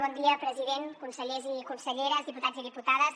bon dia president consellers i conselleres diputats i diputades